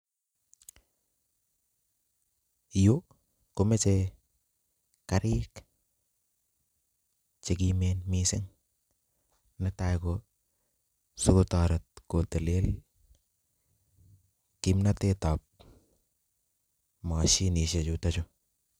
Yuu komechei karik che Kimen mising nee tai ko sikotaret kotelel kimnatet ab machinisek chutok